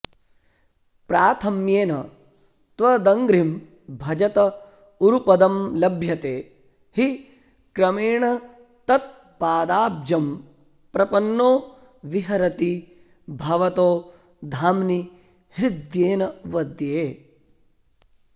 प्राथम्येन त्वदङ्घ्रिं भजत उरुपदं लभ्यते हि क्रमेण तत्पादाब्जं प्रपन्नो विहरति भवतो धाम्नि हृद्येन वद्ये